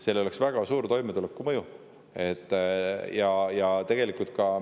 Sellel oleks toimetulekule väga suur mõju.